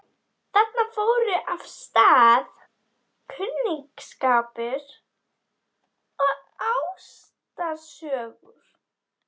Þarna fóru af stað kunningsskapur og ástarsögur.